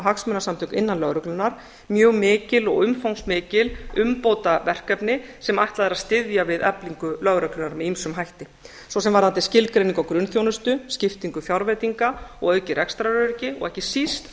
hagsmunasamtök innan lögreglunnar mjög mikil og umfangsmikil umbótaverkefni sem ætlað er að styðja við eflingu lögreglunnar með ýmsum hætti svo sem varðandi skilgreiningu á grunnþjónustu skiptingu fjárveitinga og aukið rekstraröryggi og ekki síst